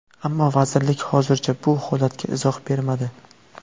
Ammo vazirlik hozircha bu holatga izoh bermadi.